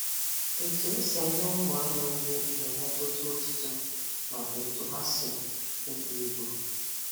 Etu esi enye ụmụanụ nrị na-emetụta otito nakwa etu ha si ebu ibu